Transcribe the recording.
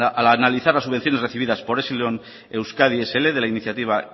al analizar las subvenciones recibidas por epsilon euskadi scincuenta de la iniciativa